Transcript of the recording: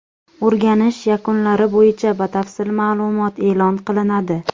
O‘rganish yakunlari bo‘yicha batafsil ma’lumot e’lon qilinadi.